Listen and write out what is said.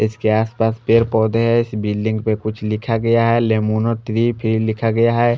इसके आस पास पेड़ पौधे है इस बिल्डिंग पे कुछ लिखा गया है लिमोनो थ्री फिर लिखा गया है।